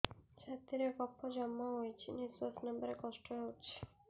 ଛାତିରେ କଫ ଜମା ହୋଇଛି ନିଶ୍ୱାସ ନେବାରେ କଷ୍ଟ ହେଉଛି